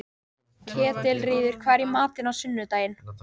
Ketilríður, hvað er í matinn á sunnudaginn?